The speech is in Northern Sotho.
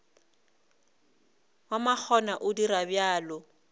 wa makgona o dira bjalo